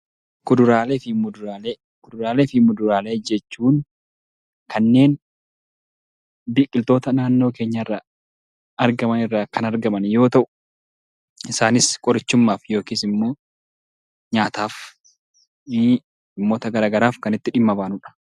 Kuduraalee fi muduraalee Kuduraalee fi muduraalee jechuun kanneen biqiltoota naannoo keenyaa irraa argaman irraa kan argaman yemmuu ta'uu, qorichumaaf yookaan immoo nyaataaf kan itti dhimma bahanudha.